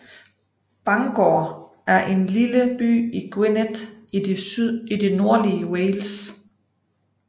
Bangor er en lille by i Gwynedd i det nordlige Wales